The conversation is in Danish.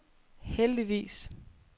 heldigvis